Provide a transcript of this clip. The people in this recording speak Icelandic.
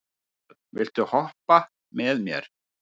Finnbjörn, viltu hoppa með mér?